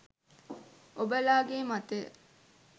ඔබලාගේ මතය